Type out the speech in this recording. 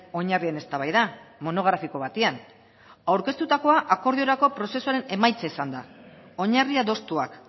oinarrien eztabaida monografiko batean aurkeztutakoa akordiorako prozesuaren emaitza izan da oinarri adostuak